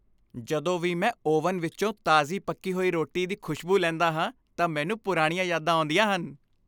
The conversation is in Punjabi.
ਜਦੋਂ ਵੀ ਮੈਂ ਓਵਨ ਵਿੱਚੋਂ ਤਾਜ਼ੀ ਪੱਕੀ ਹੋਈ ਰੋਟੀ ਦੀ ਖੁਸ਼ਬੂ ਲੈਂਦਾ ਹਾਂ ਤਾਂ ਮੈਨੂੰ ਪੁਰਾਣੀਆਂ ਯਾਦਾਂ ਆਉਂਦੀਆਂ ਹਨ।